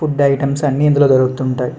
Food items అన్నీ ఇందులో దొరుకుతుంటాయి.